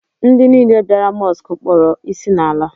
Ndị niile bịara Mọsk kpọrọ ịsị n'ala